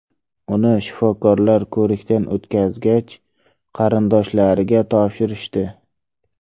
Uni shifokorlar ko‘rikdan o‘tkazgach, qarindoshlariga topshirishdi.